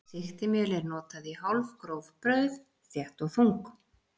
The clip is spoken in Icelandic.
Sigtimjöl er notað í hálfgróf brauð, þétt og þung.